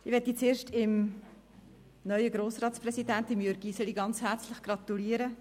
Ich will zuerst dem neuen Grossratspräsidenten Jürg Iseli ganz herzlich zu seiner Wahl gratulieren.